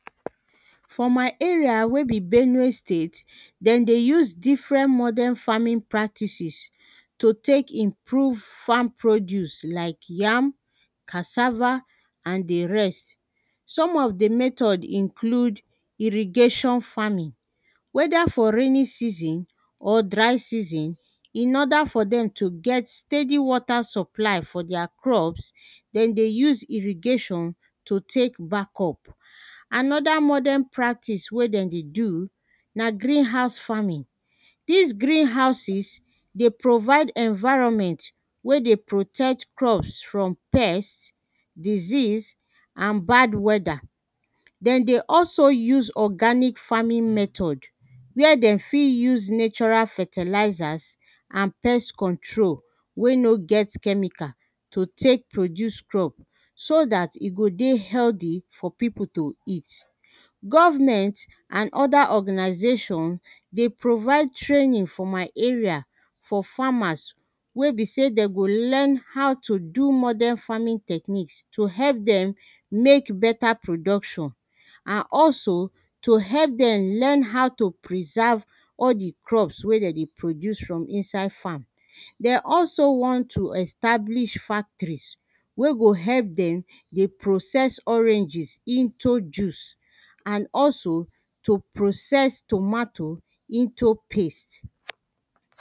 for my area wey be benue state, dem dey use different modern farming practices to tek improve farm produce like: yam, cassava, and the rest. some of the method include: irrigation farming, wether for raining season or dry season, in order for dem to get steady water supply for deir crops, den dey use irrigation to tek backup. another modern practice wey den dey do na green house farming. dis green houses, dey provide environment wey dey protect crops from pests, disease, and bad weather. den dey also use organic farming method, where dem fit use natural fertilizers and pest control wey no get chemical to tek produce crop, so dat e go dey healthy for pipo to eat. government, and other organisation, dey provide training for my area for farmers, wey be sey de go learn, how to do modern farming techniques, to help dem mek better production, and also to help dem learn how to preserve all the crops wey dem dey produce for inside farm. de also want to establish factories, wey go help dem dey process oranges into juice, and also, to process tomato into paste.